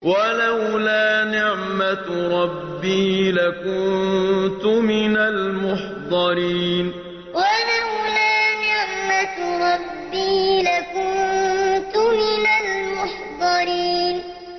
وَلَوْلَا نِعْمَةُ رَبِّي لَكُنتُ مِنَ الْمُحْضَرِينَ وَلَوْلَا نِعْمَةُ رَبِّي لَكُنتُ مِنَ الْمُحْضَرِينَ